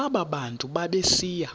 aba bantu babesiya